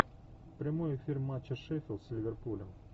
прямой эфир матча шеффилд с ливерпулем